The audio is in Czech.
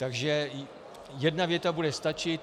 Takže jedna věta bude stačit.